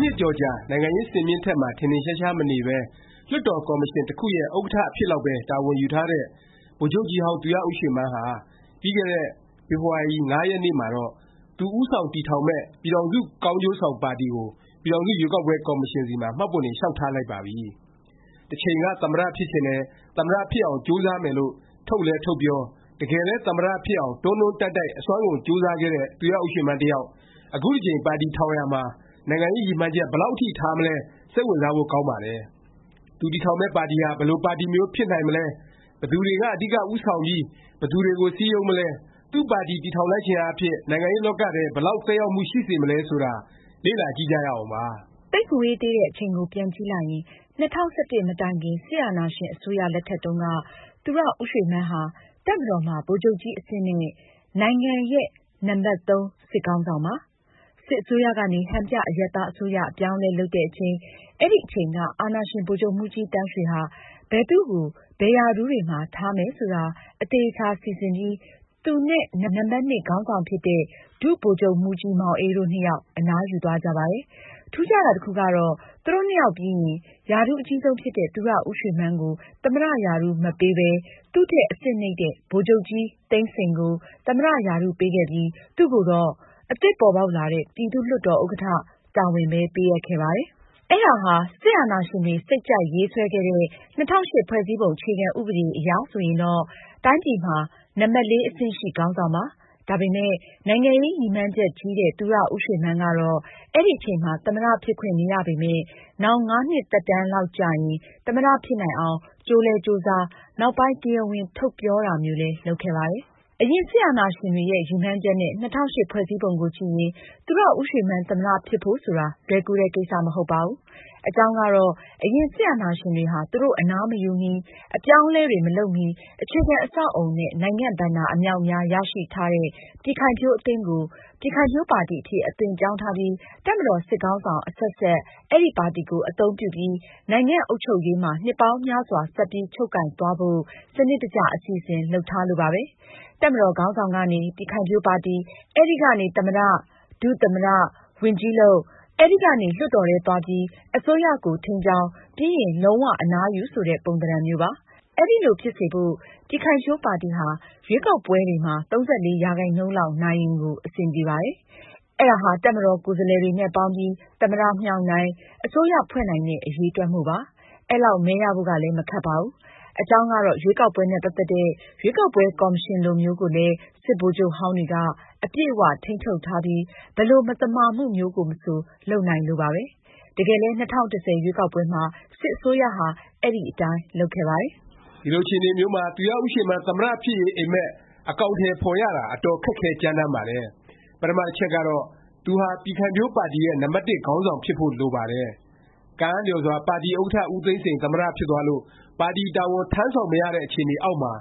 နှစ်ကျော်ကြာ နိုင်ငံရေး စင်မြင့်မှာ ထင်ထင်ရှားရှား မနေပဲ လွှတ်တော် ကော်မရှင် တစ်ခုရဲ့ ဥက္ကဌ အဖြစ်လောက်ပဲ တာဝန်ယူထားတဲ့ ဗိုလ်ချုပ်ကြီးဟောင်း သူရဦးရွှေမန်းဟာ ပြီးခဲ့တဲ့ ဖေဖေါ်ဝါရီ ၅ ရက်နေ့မှာတော့ သူဦးဆောင် တည်ထောင်မယ့် ပြည်ထောင်စု ကောင်းကျိုးဆောင် ပါတီကို ပြည်ထောင်စု ရွေးကောက်ပွဲ ကော်မရှင်ဆီမှာ မှတ်ပုံတင် လျောက်ထားလိုက်ပါပြီ။ တစ်ချိန်က သမ္မတ ဖြစ်ချင်တယ်၊ သမ္မတ ဖြစ်အောင် ကြိုးစားမယ်လို့ ထုတ်လည်း ထုတ်ပြော၊ တကယ်လည်း သမ္မတ ဖြစ်အောင် တွန်းတွန်းတိုက်တိုက် အစွမ်းကုန် ကြိုးစားခဲ့တဲ့ သူရဦးရွှေမန်း တစ်ယောက် အခုတစ်ကြိမ် ပါတီထောင်ရာမှာ နိုင်ငံရေး ရည်မှန်းချက် ဘယ်လောက် အထိ ထားမလဲ စိတ်ဝင်စားဖို့ ကောင်းပါတယ်။ သူတည်ထောင်မယ့် ပါတီဟာ ဘယ်လို ပါတီမျိုး ဖြစ်နိုင်မလဲ၊ ဘယ်သူတွေက အဓိက ဦးဆောင်ပြီး ဘယ်သူတွေကို စည်းရုံးမလဲ၊ သူ့ပါတီ တည်ထောင်လိုက်ခြင်းအားဖြင့် နိုင်ငံရေးလောကထဲ ဘယ်လောက် သက်ရောက်မှု ရှိစေမလဲ ဆိုတာ လေ့လာကြည့်ကြရအောင်ပါ။ သိပ်မဝေးသေးတဲ့အချိန်ကို ပြန်ကြည့်လိုက်ရင် ၂၀၁၁ မတိုင်ခင် စစ်အာဏာရှင် အစိုးရ လက်ထက်တုန်းက သူရဦးရွှေမန်းဟာ တပ်မတော်မှာ ဗိုလ်ချုပ်ကြီးအဆင့်နဲ့ နိုင်ငံရဲ့ နံပတ်(၃) စစ်ခေါင်းဆောင်ပါ။ စစ်အစိုးရကနေ ဟန်ပြ အရပ်သားအစိုးရ အပြောင်းအလဲ လုပ်တဲ့အချိန် အဲဒီအချိန်က အာဏာရှင် ဗိုလ်ချုပ်မှူးကြီးသန်းရွှေဟာ ဘယ်သူ့ကို ဘယ်ရာထူးတွေမှာ ထားမယ် ဆိုတာ အသေအခြာ စီစဉ်ပြီး သူနဲ့ နံပတ်(၂) ခေါင်းဆောင်ဖြစ်တဲ့ ဒုဗိုလ်ချုပ်မှူးကြီးမောင်အေး တို့နှစ်ယောက် အနားယူသွားကြပါတယ်။ ထူးခြားတာ တစ်ခုကတော့ သူတို့နှစ်ယောက်ပြီးရင် ရာထူးအကြီးဆုံးဖြစ်တဲ့ သူရဦးရွှေမန်းကို သမ္မတ ရာထူး မပေးပဲ သူ့ထက် အဆင့်နိမ့်တဲ့ ဗိုလ်ချုပ်ကြီးသိန်းစိန်ကို သမ္မတ ရာထူးပေးခဲ့ပြီး သူ့ကိုတော့ အသစ်ပေါ်ပေါက်လာတဲ့ ပြည်သူ့လွှတ်တော် ဥက္ကဌ တာဝန်ပဲ ပေးအပ်ခဲ့ပါတယ်။ အဲဒါဟာ စစ်အာဏာရှင်တွေ စိတ်ကြိုက်ရေးဆွဲခဲ့တဲ့ ၂၀၀၈ ဖွဲ့စည်းပုံ အခြေခံဥပဒေ အရဆိုရင်တော့ တိုင်းပြည်မှာ နံပတ်(၄) အဆင့်ရှိ ခေါင်းဆောင်ပါ။ ဒါပေမယ့် နိုင်ငံရေးရည်မှန်းချက်ကြီးတဲ့ သူရဦးရွှေမန်းကတော့ အဲဒီအချိန်မှာ သမ္မတ ဖြစ်ခွင့်မရပေမယ့် နောင် ၅ နှစ်သက်တန်းလောက်ကျရင် သမ္မတ ဖြစ်နိုင်အောင် ကြိုးလည်း ကြိုးစား၊ နောက်ပိုင်း တရားဝင် ထုတ်ပြောတာမျိုးလည်း လုပ်ခဲ့ပါတယ်။ အရင် စစ်အာဏာရှင်တွေရဲ့ ရည်မှန်းချက်နဲ့ ၂၀၀၈ ဖွဲ့စည်းပုံကို ကြည့်ရင် သူရဦးရွှေမန်း သမ္မတ ဖြစ်ဖို့ဆိုတာ လွယ်ကူတဲ့ ကိစ္စ မဟုတ်ပါဘူး။ အကြောင်းကတော့ အရင် စစ်အာဏာရှင်တွေဟာ သူတို့ အနားမယူမီ၊ အပြောင်းအလဲတွေ မလုပ်မီ အခြေခံ အဆောက်အဦနဲ့ နိုင်ငံ့ဘဏ္ဍာ အမြောက်အများ ရရှိထားတဲ့ ပြည်ခိုင်ဖြိုးအသင်းကို ပြည်ခိုင်ဖြိုးပါတီ အဖြစ် အသွင်ပြောင်းထားပြီး တပ်မတော် စစ်ခေါင်းဆောင် အဆက်ဆက် အဲဒီ ပါတီကို အသုံးပြုပြီး နိုင်ငံ့အုပ်ချုပ်ရေးမှာ နှစ်ပေါင်းများစွာ ဆက်ပြီး ချုပ်ကိုင်သွားဖို့ စနစ်တကျ အစီအစဉ် လုပ်ထားလို့ပါပဲ။ တပ်မတော်ခေါင်းဆောင်ကနေ ပြည်ခိုင်ဖြိုးပါတီ၊ အဲဒီကနေ သမ္မတ၊ ဒုသမ္မတ ဝန်ကြီးလုပ်၊ အဲဒီကနေ လွှတ်တော်ထဲသွားပြီး အစိုးရကို ထိန်းကျောင်း၊ ပြီးရင် လုံး၀ အနားယူ ဆိုတဲ့ ပုံသဏ္ဍာန်မျိုးပါ။ အဲလိုဖြစ်စေဖို့ ပြည်ခိုင်ဖြိုးပါတီဟာ ရွေးကောက်ပွဲတွေမှာ ၃၄ ရာခိုင်နှုန်းလောက် နိုင်ရင်ကို အဆင်ပြေပါတယ်။ အဲဒါဟာ တပ်မတော်ကိုယ်စားလှယ်တွေနဲ့ ပေါင်းပြီး သမ္မတ မြှောက်နိုင်၊ အစိုးရဖွဲ့နိုင်တဲ့ အရည်အတွက်မို့ပါ။ အဲလောက် မဲရဖို့ကလည်း မခက်ပါဘူး။ အကြောင်းကတော့ ရွေးကောက်ပွဲနဲ့ ပတ်သက်တဲ့ ရွေးကောက်ပွဲ ကော်မရှင်လိုမျိုးကိုလည်း စစ်ဗိုလ်ချုပ်ဟောင်းတွေက အပြည့်အ၀ ထိန်းချုပ်ထားပြီး ဘယ်လို မသမာမှုမျိုးမဆို လုပ်နိုင်လို့ပါပဲ။ တကယ်လည်း ၂၀၁၀ ရွေးကောက်ပွဲမှာ စစ်အစိုးရဟာ အဲဒီအတိုင်း လုပ်ခဲ့ပါတယ်။ ဒီလို အခြေအနေမျိုးမှာ သူရဦးရွှေမန်း သမ္မတ ဖြစ်ရေး အိပ်မက် အကောင်အထည် ဖော်ရတာ အတော်ခက်ခဲကြမ်းတမ်းပါတယ်။ ပထမ တစ်ချက်ကတော့ သူဟာ ပြည်ခိုင်ဖြိုးပါတီရဲ့ နံပတ်တစ် ခေါင်းဆောင်ဖြစ်ဖို့ လိုပါတယ်။ ကံအားလျော်စွာ ပါတီဥက္ကဌ ဦးသိန်းစိန် သမ္မတ ဖြစ်သွားလို့ ပါတီတာဝန် ထမ်းဆောင် မရတဲ့အခြေအနေအောက်မှာ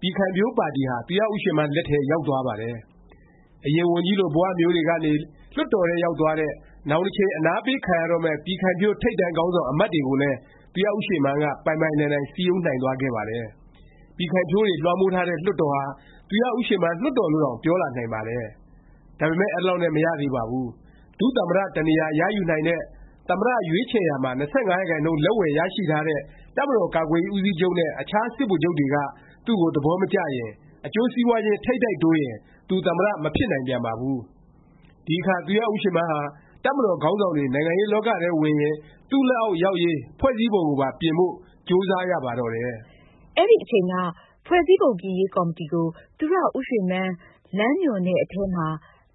ပြည်ခိုင်ဖြိုးပါတီဟာ သူရဦးရွှေမန်း လက်ထဲ ရောက်သွားပါတယ်။ အရင် ဝန်ကြီးလို ဘ၀ မျိုးတွေကနေ လွှတ်တော်ထဲ ရောက်သွားတဲ့၊ နောင်တစ်ချိန် အနားပေးခံရတော့မယ့် ပြည်ခိုင်ဖြိုး ထိပ်တန်းခေါင်းဆောင် အမတ်တွေကိုလည်း သူရဦးရွှေမန်းက ပိုင်ပိုင်နိုင်နိုင် စည်းရုံးနိုင်သွားခဲ့ပါတယ်။ ပြည်ခိုင်ဖြိုးတွေ လွှမ်းမိုးထားတဲ့ လွှတ်တော်ဟာ သူရဦးရွှေမန်း လွှတ်တော်လို့တောင် ပြောလာနိုင်ပါတယ်။ ဒါပေမယ့် အဲလောက်နဲ့ မရသေးပါဘူး။ ဒုသမ္မတ တစ်နေရာ ရယူနိုင်တဲ့၊ သမ္မတ ရွေးချယ်ရာမှာ ၂၅ ရာခိုင်နှုန်း လက်ဝယ်ရှိထားတဲ့ တပ်မတော်ကာကွယ်ရေး ဦးစီးချုပ်နဲ့ အခြားစစ်ဗိုလ်ချုပ်တွေက သူ့ကို သဘောမကျရင်၊ အကျိုးစီးပွားခြင်း ထိပ်တိုက်တိုးရင် သူ သမ္မတ မဖြစ်နိုင်ပြန်ပါဘူး။ ဒီအခါ သူရဦးရွှေမန်းဟာ တပ်မတော်ခေါင်းဆောင်တွေ နိုင်ငံရေးလောကထဲဝင်ရင် သူ့လက်အောက် ရောက်ရေး ဖွဲ့စည်းပုံကိုပါ ပြင်ဖို့ ကြိုးစားရပါတော့တယ်။ အဲဒီအချိန်က ဖွဲ့စည်းပုံပြင်ရေး ကော်မတီကို သူရဦးရွှေမန်း လမ်းညွှန်တဲ့အထဲမှာ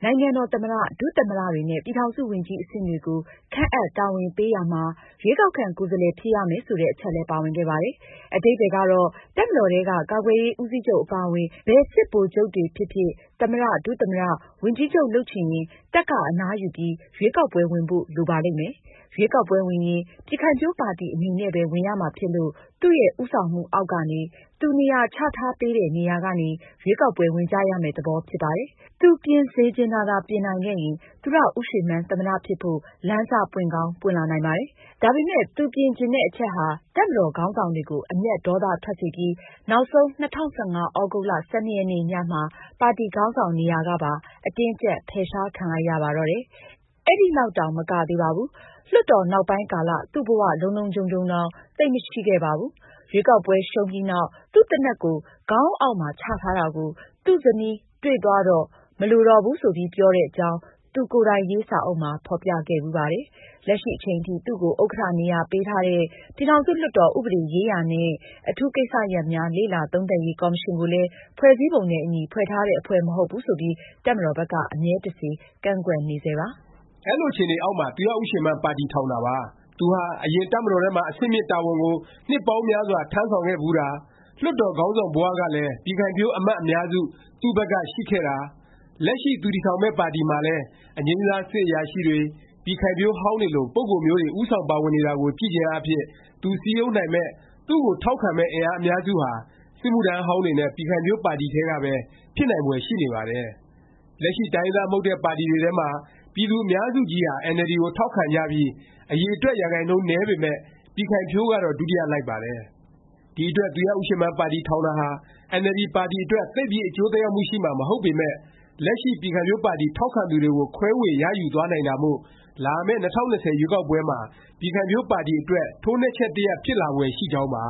နိုင်ငံတော် သမ္မတ၊ ဒုသမ္မတတွေနဲ့ ပြည်ထောင်စုဝန်ကြီး အဆင့်တွေကို ခန့်အပ် တာဝန်ပေးရာမှာ ရွေးကောက်ခံ ကိုယ်စားလှယ် ဖြစ်ရမယ် ဆိုတဲ့ အချက်လည်း ပါဝင်ခဲ့ပါတယ်။ အဓိပ္ပါယ်ကတော့ တပ်မတော်ထဲက ကာကွယ်ရေး ဦးစီးချုပ် အပါအဝင် ဘယ်စစ်ဗိုလ်ချုပ်တွေဖြစ်ဖြစ် သမ္မတ၊ ဒုသမ္မတ၊ ဝန်ကြီးလုပ်ချင်ရင် တပ်က အနားယူပြီး ရွေးကောက်ပွဲ ဝင်ဖို့ လိုပါလိမ့်မယ်။ ရွေးကောက်ပွဲဝင်ရင် ပြည်ခိုင်ဖြိုးပါတီ အနေနဲ့ပဲ ဝင်ရမှာဖြစ်လို့ သူ့ဦးဆောင်မှုအောက်ကနေ၊ သူနေရာချထားပေးတဲ့ နေရာကနေ ရွေးကောက်ပွဲ ဝင်ကြရမယ့် သဘောဖြစ်ပါတယ်။ သူပြင်စေချင်တာသာ ပြင်နိုင်ခဲ့ရင် သူရဦးရွှေမန်း သမ္မတ ဖြစ်ဖို့ လမ်းစ ပွင့်ကောင်း ပွင့်လာနိုင်ပါတယ်။ ဒါပေမယ့် သူပြင်ချင်တဲ့ အချက်ဟာ တပ်မတော်ခေါင်းဆောင်တွေကို အမျက်ဒေါသ ထွက်စေပြီး နောက်ဆုံး ၂၀၁၅ သြဂုတ်လ ၁၂ ရက်နေ့ ညမှာ ပါတီခေါင်းဆောင် နေရာကပါ အတင်းအကြပ် ဖယ်ရှားခံလိုက်ရပါတော့တယ်။ အဲဒီလောက်တောင် မကသေးပါဘူး။ လွှတ်တော် နောက်ပိုင်းကာလ သူ့ဘ၀ လုံလုံခြုံခြုံတောင် သိပ်မရှိခဲ့ပါဘူး။ ရွေးကောက်ပွဲ ရှုံးပြီးနောက် သူ့သေနတ်ကို ခေါင်းအုံးအောက်မှာ ချတာကို သူ့ဇနီးတွေ့သွားတော့ မလိုတော့ဘူး ဆိုပြီး ပြောတဲ့အကြောင်း သူ့ကိုယ်တိုင်ရေး စာအုပ်မှာ ဖော်ပြခဲ့ဖူးပါတယ်။ လက်ရှိအချိန်ထိ သူ့ကို ဥက္ကဌနေရာ ပေးထားတဲ့ ပြည်ထောင်စုလွှတ်တော် ဥပဒေရေးရာနှင့် အထူးကိစ္စရပ်များ လေ့လာသုံးသပ်ရေး ကော်မရှင်ကိုလည်း ဖွဲ့စည်းပုံနဲ့ အညီ ဖွဲ့ထားတဲ့ အဖွဲ့ မဟုတ်ဘူးဆိုပြီး တပ်မတော်ဘက်က အမြဲတစေ ကန့်ကွက်နေဆဲပါ။ ဒီလိုအခြေအနေအောက်မှာ သူရဦးရွှေမန်း ပါတီထောင်တာပါ။ သူဟာ အရင်က တပ်မတော်ထဲမှာ အဆင့်မြင့် တာဝန်ကို နှစ်ပေါင်းများစွာ ထမ်းဆောင်ခဲ့ဖူးတာ၊ လွှတ်တော်ခေါင်းဆောင်ဘ၀ ကလည်း ပြည်ခိုင်ဖြိုးအမတ် အများစု သူ့ဘက်က ရှိခဲ့တာ၊ လက်ရှိ သူတည်ထောင်မယ့် ပါတီမှာလည်း အငြိမ်းစား စစ်အရာရှိတွေ၊ ပြည်ခိုင်ဖြိုးဟောင်းတွေလို ပုဂ္ဂိုလ်မျိုးတွေ ဦးဆောင် ပါဝင်နေတာကိုကြည့်ခြင်းအားဖြင့် သူစည်းရုံးနိုင်မယ့်၊ သူ့ကိုထောက်ခံမယ့် အင်အားအများစုဟာ စစ်မှုထမ်းဟောင်းတွေနဲ့ ပြည်ခိုင်ဖြိုးပါတီထဲကပဲ ဖြစ်နိုင်ဖွယ်ရှိနေပါတယ်။ လက်ရှိ တိုင်းရင်းသား မဟုတ်တဲ့ ပါတီတွေထဲမှာ ပြည်သူ အများစုကြီးဟာ NLD ကို ထောက်ခံကြပြီး အရည်အတွက် ရာခိုင်နှုန်း နည်းပေမယ့် ပြည်ခိုင်ဖြိုးကတော့ ဒုတိယ လိုက်ပါတယ်။ ဒီအတွက် သူရဦးရွှေမန်း ပါတီ ထောင်တာဟာ အင်န်အယ်လ်ဒီ ပါတီအတွက် သိပ်ပြီး အကျိုးသက်ရောက်မှု ရှိမှာ မဟုတ်ပေမယ့် လက်ရှိ ပြည်ခိုင်ဖြိုးပါတီထောက်ခံသူတွေကို ခွဲေ၀ ရယူသွားနိုင်တာမို့ လာမယ့် ၂၀၂၀ ရွေးကောက်ပွဲမှာ ပြည်ခိုင်ဖြိုးပါတီအတွက် ထိုးနှက်ချက် တစ်ရပ် ဖြစ်လာဖွယ် ရှိကြောင်းပါ